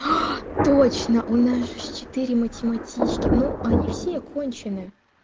точно у нас же четыре математички ну но они все конченые